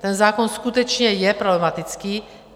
Ten zákon skutečně je problematický.